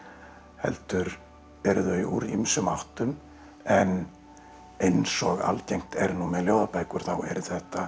heldur eru þau úr ýmsum áttum en eins og algengt er nú með ljóðabækur þá eru þetta